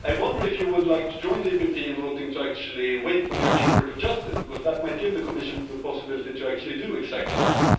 I wonder if you would like to join the EPP in voting to wait for the European Court of Justice, because that might give the Commission the possibility to do exactly that?